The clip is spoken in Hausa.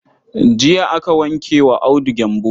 Jiya aka wanke wa Audu gyambo.